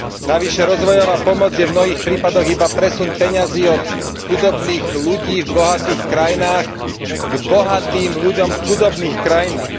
Navyše rozvojová pomoc je v mnohých prípadoch iba presun peňazí od chudobných ľudí v bohatých krajinách k bohatým ľuďom v chudobných krajinách.